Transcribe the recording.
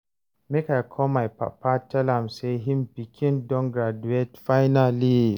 make I call my papa tell am say him pikin don graduate finally